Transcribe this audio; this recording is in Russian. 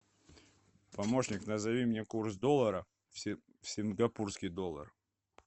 помощник назови мне курс доллара в сингапурский доллар